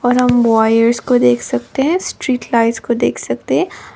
और हम वायर्स को देख सकते हैं स्ट्रीट लाइट्स को देख सकते हैं।